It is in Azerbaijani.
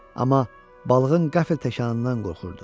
Amma balığın qəfil təkanından qorxurdu.